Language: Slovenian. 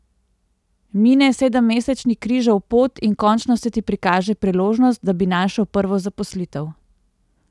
Mine sedemmesečni križev pot in končno se ti prikaže priložnost, da bi našel prvo zaposlitev.